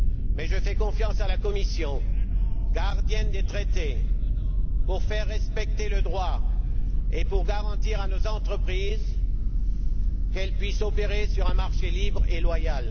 Mais je fais confiance à la Commission, gardienne des traités, pour faire respecter le droit et pour garantir à nos entreprises qu'elles puissent opérer sur un marché libre et loyal.